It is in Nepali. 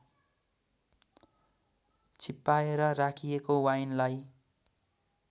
छिप्पाएर राखिएको वाइनलाई